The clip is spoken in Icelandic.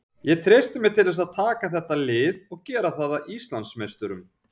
Ég treysti mér til þess að taka þetta lið og gera það að Íslandsmeisturum.